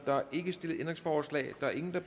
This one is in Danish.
der er ikke stillet ændringsforslag der er ingen der